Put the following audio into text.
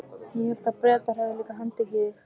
Ég hélt að Bretar hefðu líka handtekið þig?